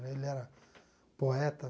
Né ele era poeta.